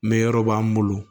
Mɛ yɔrɔ b'an bolo